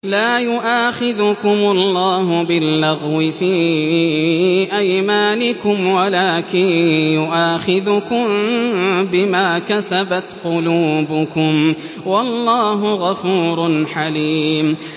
لَّا يُؤَاخِذُكُمُ اللَّهُ بِاللَّغْوِ فِي أَيْمَانِكُمْ وَلَٰكِن يُؤَاخِذُكُم بِمَا كَسَبَتْ قُلُوبُكُمْ ۗ وَاللَّهُ غَفُورٌ حَلِيمٌ